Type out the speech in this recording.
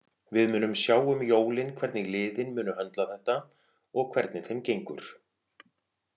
Við munum sjá um jólin hvernig liðin munu höndla þetta og hvernig þeim gengur.